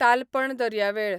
तालपण दर्यावेळ